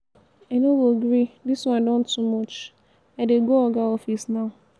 i no go gree dis wan don too much i dey go oga office now.